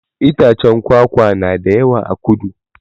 Itaccen kwakwa na da yawa a kudu